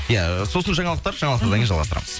иә сосын жаңалықтар жаңалықтан кейін жалғастырамыз